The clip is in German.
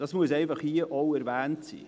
Dies muss an dieser Stelle erwähnt werden.